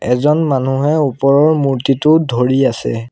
এজন মানুহে ওপৰৰ মূৰ্ত্তিটোত ধৰি আছে।